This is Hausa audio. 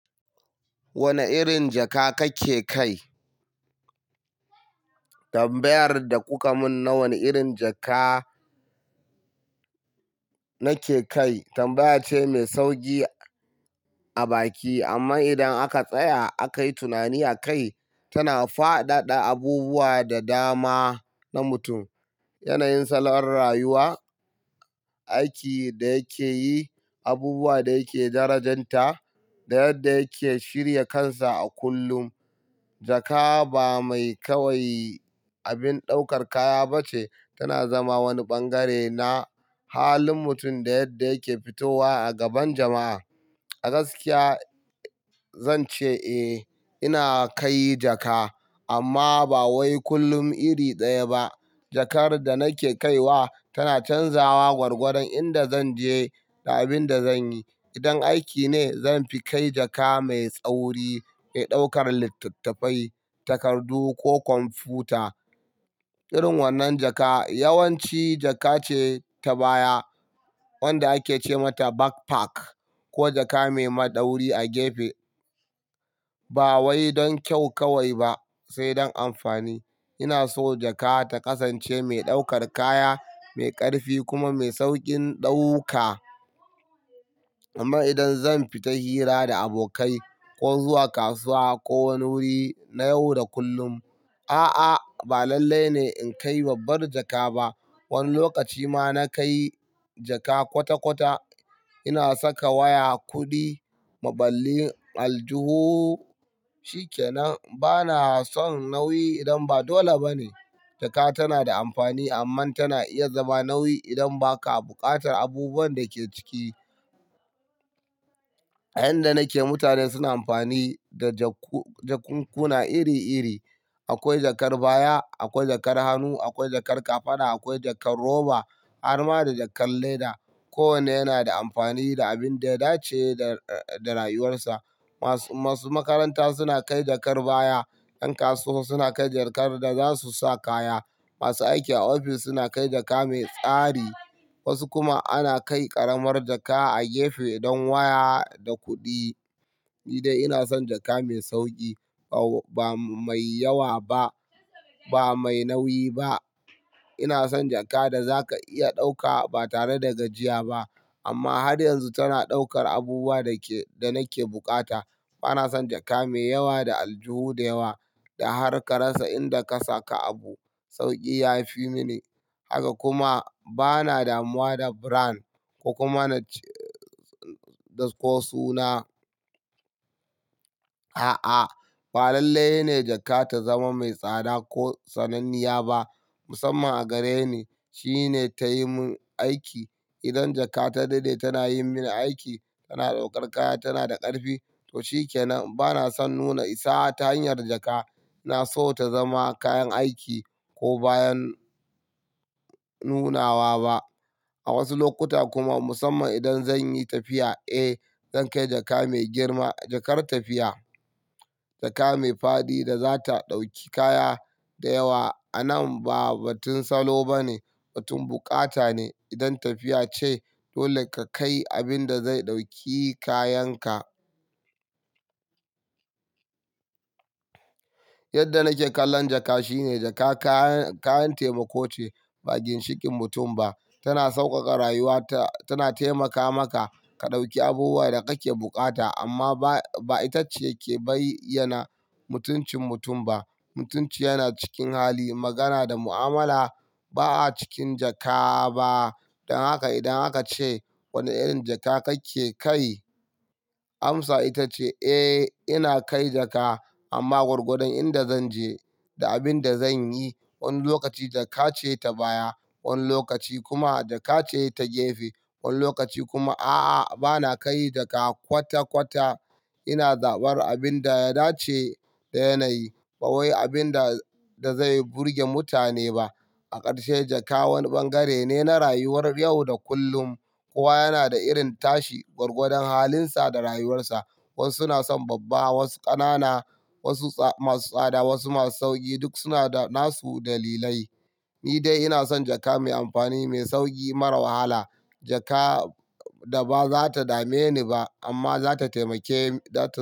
Wane irin jaka kake kai? Tambayar da kuka mun na wane irin jaka nake kai tambaya ce mai sauki a baki amma idan aka tsaya a kai tunani akai, tana faɗaɗa abubuwa da dama na mutum, yanayin salon rayuwa, aiki da yake yi, abubuwa da yake darajanta da yadda yake shirya kansa a kullum. Jaka ba mai kawai abin daukar kaya ba ce, tana zama wani bangare na halin mutum da yadda yake fitowa a gaban jama'a. A gaskiya zan ce eh ina kai jaka amma ba wai kullum iri daya ba. Jakar da nake kaiwa tana canzawa gwargwadon inda zan je da abin da zan yi. Idan aiki ne zan fi kai jaka mai tsauri mai daukar littattafai, takardu ko kwamfuta. Irin wannan jaka yawanci jaka ce ta baya wanda ake ce mata backpack ko jaka mai madauri a gefe. Ba wai don kyau kawai ba sai don amfani. Ina so jaka ta kasance mai daukar kaya, mai ƙarfi kuma mai saukin ɗauka. Amma idan zan fita hira da abokai ko zuwa kasuwa ko wani wuri na yau da kullum, a'a ba lallai ne in kai babbar jaka ba. Wani lokaci ma na kai jaka kwata-kwata. Ina saka waya, kuɗi, maɓalli. Aljuhu shikenan. Bana son nauyi idan ba dole ba ne. Jaka tana da amfani amma tana iya zama nauyi idan ba ka buƙatar abubuwan da ke ciki. A inda nake mutane suna amfani da jakunkuna iri-iri. Akwai jakar baya, akwai jakar hannu, akwai jakar kafada, akwai jakar roba, har ma da jakar leda. Kowanne yana da amfani da abin da ya dace da rayuwarsa. Masu makaranta suna kai jakar baya, ƴan kasuwa suna kai jakar da za su sa kaya. Masu aiki a ofis suna kai jaka mai tsari wasu kuma ana kai ƙaramar jaka a gefe don waya da kuɗi. Ni dai ina son jaka mai sauki ba mai yawa ba, ba mai nauyi ba. Ina son jaka da za ka iya ɗauka ba tare da gajiya ba amma har yanzu tana daukar abubuwa da nake bukata. Bana son jaka mai yawa da aljuhu da yawa da harka rasa inda ka saka abu. Sauki ya fi mini haka kuma ba na damuwa da brand ko kuma suna. A'a, ba lallai ne jaka ta zama mai tsada ko sananniya ba musamman a gareni shine ta yi min aiki. Idan jaka ta daɗe tana yin mini aiki, tana daukar kaya, tana da ƙarfi to shikenan. Bana son nuna isa ta hanyar jaka. Na so ta zama kayan aiki ko bayan nunawa ba. A wasu lokuta kuma musamman idan zan yi tafiya, eh zan kai jaka mai girma, jakar tafiya. Jaka mai faɗi da za ta dauki kaya da yawa. A nan ba batun salo ba ne batun bukata ne. Idan tafiya ce dole ka kai abin da zai dauki kayanka. Yadda nake kallon jaka shine jaka kayan taimako ce ba ginshiƙin mutum ba. Tana sauƙaƙa rayuwa. Tana taimaka maka ka dauki abubuwan da kake bukata amma ba ita ce ke bayyana mutuncin mutum ba. Mutunci yana cikin hali, magana da mu'amala. Ba a cikin jaka ba. Don haka idan aka ce wane irin jaka kake kai amsa ita ce "Eh ina kai jaka amma gwargwadon inda zan je da abin da zan yi." Wani lokaci jaka ce ta baya, wani lokaci kuma jaka ce ta gefe. Wani lokaci kuma a'a bana kai jaka kwata-kwata. Ina zaɓar abin da ya dace da yanayi ba wai abin da zai burge mutane ba. A karshe jaka wani bangare ne na rayuwar yau da kullum. Kowa yana da irin tashi gwargwadon halinsa da rayuwarsa. Wasu suna son babba, wasu ƙanana, wasu masu tsada, wasu masu sauƙi duk suna da nasu dalilai. Ni dai ina son jaka mai amfani, mai sauki, mara wahala. Jaka da ba za ta dame ni ba amma za ta taimake.